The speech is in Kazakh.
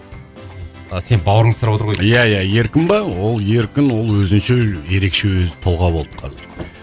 а сенің бауырыңды сұраватыр ғой деймін иә иә еркін ба ол еркін ол өзінше ерекше өзі тұлға болды қазір